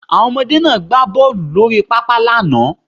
Àwọn ọmọdé náà gbá bọ́ọlù lórí pápá lánàá